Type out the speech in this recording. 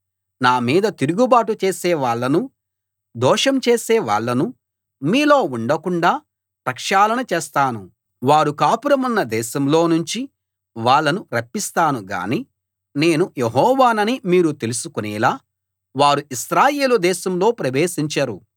నా మీద తిరుగుబాటు చేసేవాళ్ళనూ దోషం చేసేవాళ్ళనూ మీలో ఉండకుండాా ప్రక్షాళన చేస్తాను వారు కాపురమున్న దేశంలో నుంచి వాళ్ళను రప్పిస్తాను గాని నేను యెహోవానని మీరు తెలుసుకునేలా వారు ఇశ్రాయేలు దేశంలో ప్రవేశించరు